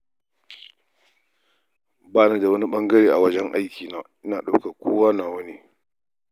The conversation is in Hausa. Ba ni da wani ɓangare a wajen aikina, ina ɗaukar kowa nawa.